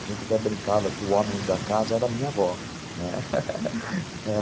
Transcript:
A gente até brincava que o homem da casa era a minha avó, né,